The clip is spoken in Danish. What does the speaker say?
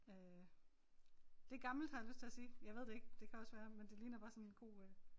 Øh det gammelt har jeg lyst til at sige jeg ved det ikke det kan også være men det ligner bare sådan en god øh